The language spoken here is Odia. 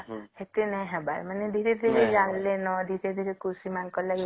ଏତେ ନାଇଁ ହେବାର ମାନେ ଧୀରେ ଧୀରେ ଜାଣିଲେ ନ ଧୀରେ ଧୀରେ କୃଷି ମାନଙ୍କର ଲାଗି